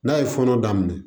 N'a ye fɔnɔ daminɛ